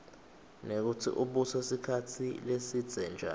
nekutsi ubuse sikhatsi lesibze njani